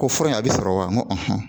Ko fura in a bɛ sɔrɔ wa n ko